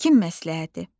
Həkim məsləhəti.